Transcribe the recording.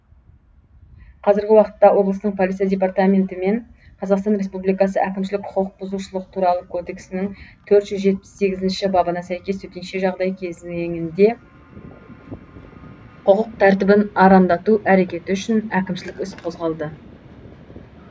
қазіргі уақытта облыстың полиция департаментімен қазақстан республикасы әкімшілік құқық бұзушылық туралы кодексінің төрт жүз жетпіс сегізінші бабына сәйкес төтенше жағдай кезеңінде құқық тәртібін арандату әрекеті үшін әкімшілік іс қозғалды